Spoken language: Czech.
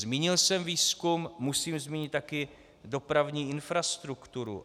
Zmínil jsem výzkum, musím zmínit také dopravní infrastrukturu.